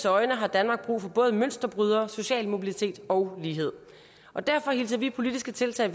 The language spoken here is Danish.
øjne har danmark brug for både mønsterbrydere social mobilitet og lighed og derfor hilser vi politiske tiltag